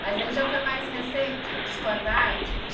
Mas ele já foi mais recente de História da Arte?